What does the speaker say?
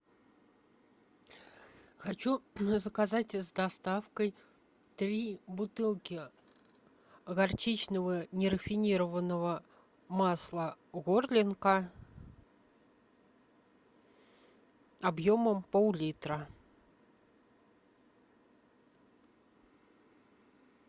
хочу заказать с доставкой три бутылки горчичного нерафинированного масла горлинка объемом пол литра